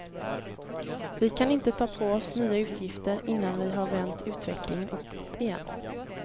Vi kan inte ta på oss nya utgifter innan vi har vänt utvecklingen uppåt igen.